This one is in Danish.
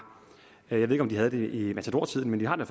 jeg ved ikke om vi havde det i matadortiden men vi har det